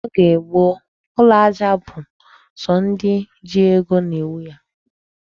N'oge gboo, ụlọ aja bụ sọ ndị ji ego na-enwe ya.